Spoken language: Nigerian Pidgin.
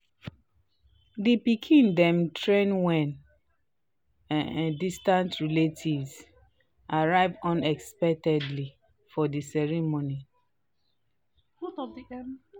um di pikin dem thrilled wen um distant relatives arrived unexpectedly for di um ceremony